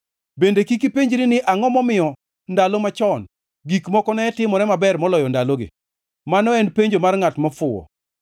Bende kik ipenjri ni angʼo momiyo ndalo machon gik moko ne timore maber moloyo ndalogi? Mano en penjo mar ngʼat mofuwo.